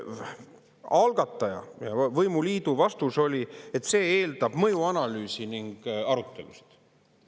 Algataja ja võimuliidu vastus oli, et see eeldab mõjuanalüüsi ning arutelusid.